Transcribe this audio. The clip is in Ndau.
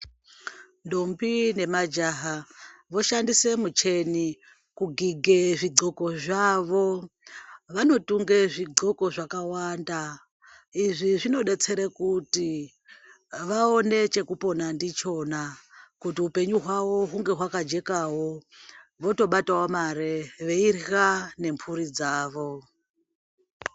Ndombi nemajaha voshandise mucheni kugige zvidhloko zvavo vanotunge zvidhloko zvakawanda izvi zvinodetsere kuti vaone chekupona ndichona kuti hupenyu hwavo hunge hwakajekawo votobatawo mare veirya nemhuri dzavo.